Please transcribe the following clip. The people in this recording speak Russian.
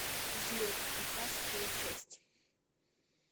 взлет пятнадцатая часть